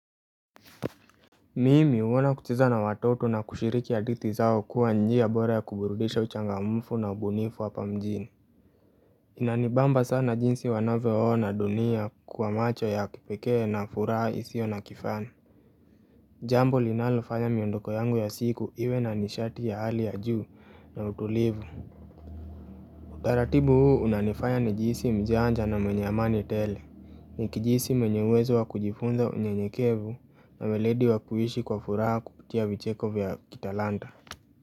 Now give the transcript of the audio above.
Mimi huona kucheza na watoto na kushiriki hadithi zao kuwa njia bora ya kuburudisha uchangamfu na ubunifu hapa mjini. Inanibamba sana jinsi wanavyoona dunia kwa macho ya kipekee na furaha isiyo na kifani. Jambo linalofanya miondoko yangu ya siku iwe na nishati ya hali ya juu na utulivu. Taratibu huu unanifanya nijihisi mjanja na mwenye amani tele. Nikijihisi mwenye uwezo wa kujifunza unyenyekevu na ueledi wa kuishi kwa furaha kupitia vicheko vya kitalanta.